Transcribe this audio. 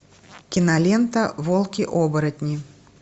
кинолента волки оборотни